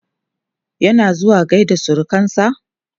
yana zuwa gaida surukansa?